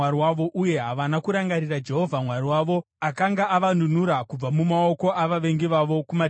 havana kurangarira Jehovha Mwari wavo, akanga avanunura kubva mumaoko avavengi vavo kumativi ose.